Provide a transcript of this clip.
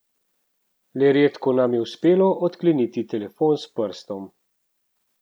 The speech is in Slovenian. Le redko nam je uspelo odkleniti telefon s prstom.